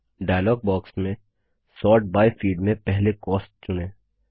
dialogue box में sort by field में पहले कॉस्ट चुनें